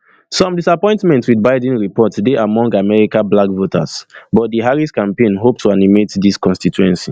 some disappointment wit biden report dey among americablack voters but di harris campaign hope to animate dis constituency